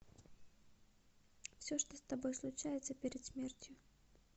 все что с тобой случается перед смертью